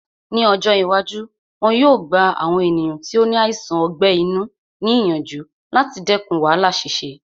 Ní ọjọ́ iwájú, wọn yóò gba àwọn ènìyàn tí ó ní àìsàn ọgbẹ́ inú ní ìyànjú láti dẹkùn wàhálà ṣíṣe